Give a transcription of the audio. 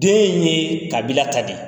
Den ye kabila ta de ye.